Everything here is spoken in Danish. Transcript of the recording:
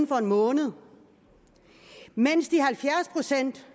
for en måned mens de halvfjerds procent